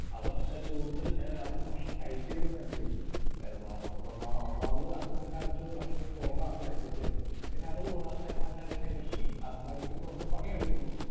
Speaker 2 അവർ കൂടുതൽ ആഹ് അവർ ഭക്ഷണം കഴിച്ചിരുന്നു എങ്കിലും ഏഹ് വ ഒന്നാ ഒന്നാമത് അന്നത്തെ കാലത്ത് ഭക്ഷണം കുറവാണ് കഴിച്ചു കൊണ്ടിരുന്നത്. പിന്നെ അതുകൂടാതെ തന്നെ അവര് അതിനെ അധ്വാനിക്കുന്നുമുണ്ട് പണിയെടുക്കുന്നുമുണ്ട്.